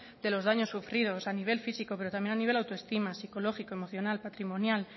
de los daños sufridos a nivel físico pero también a nivel autoestima psicológico emocional patrimonial